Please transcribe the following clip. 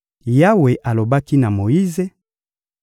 Yawe alobaki na Moyize: